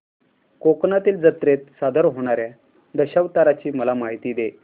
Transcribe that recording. कोकणातील जत्रेत सादर होणार्या दशावताराची मला माहिती दे